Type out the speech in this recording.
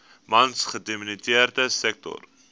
mans gedomineerde sektor